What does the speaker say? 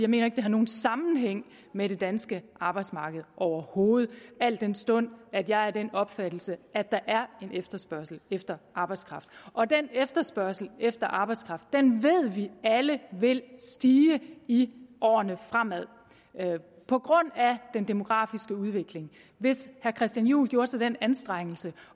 mener ikke det har nogen sammenhæng med det danske arbejdsmarked overhovedet al den stund at jeg er af den opfattelse at der er en efterspørgsel efter arbejdskraft og den efterspørgsel efter arbejdskraft ved vi alle vil stige i årene fremover på grund af den demografiske udvikling hvis herre christian juhl gjorde sig den anstrengelse